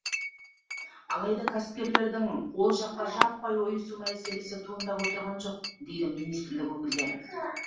алайда кәсіпкерлердің ол жаққа жаппай ойысу мәселесі туындап отырған жоқ дейді министрлік өкілдері